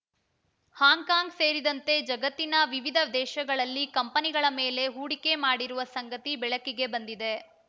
Hong Kong ಸೇರಿದಂತೆ ಜಗತ್ತಿನ ವಿವಿಧ ದೇಶಗಳಲ್ಲಿ ಕಂಪನಿಗಳ ಮೇಲೆ ಹೂಡಿಕೆ ಮಾಡಿರುವ ಸಂಗತಿ ಬೆಳಕಿಗೆ ಬಂದಿದೆ